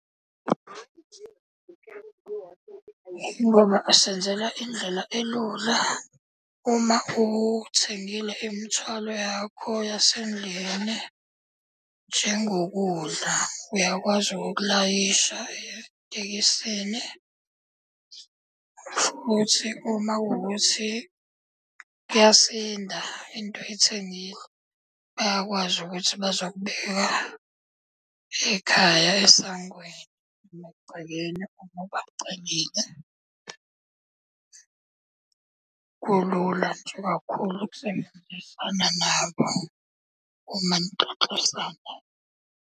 Ingoba asenzela indlela elula uma uthengile imithwalo yakho yasendlini njengokudla, uyakwazi ukukulayisha etekisini. Futhi uma kuwukuthi kuyasinda into ethengiwe, bayakwazi ukuthi bazokubeka ekhaya esangweni emagcekeni uma ubacelile. Kulula nje kakhulu ukusebenzisana nabo uma nixoxisana.